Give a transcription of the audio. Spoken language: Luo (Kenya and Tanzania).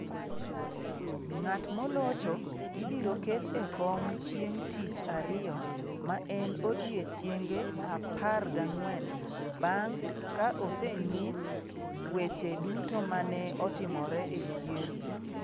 Ng'at molocho ibiro ket e kom chieng ' tich ariyo, ma en odiechienge 14 bang ' ka osenyis weche duto ma ne otimore e yiero.